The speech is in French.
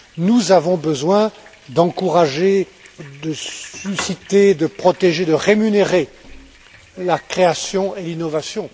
Nous avons besoin d'encourager, de susciter, de protéger, de rémunérer la création et l'innovation.